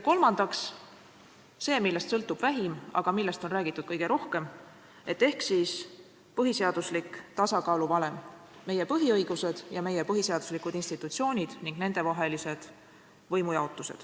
Kolmandaks see, millest sõltub kõige vähem, aga millest on räägitud kõige rohkem, ehk põhiseaduslik tasakaaluvalem: meie põhiõigused, meie põhiseaduslikud institutsioonid ning nendevaheline võimujaotus.